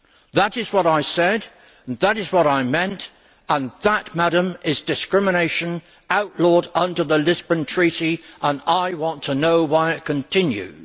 That is what I said, and that is what I meant, and that, Madam, is discrimination outlawed under the Lisbon Treaty, and I want to know why it continues.